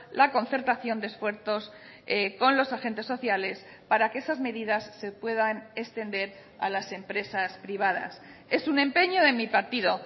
la concertación de esfuerzos con los agentes sociales para que esas medidas se puedan extender a las empresas privadas es un empeño de mi partido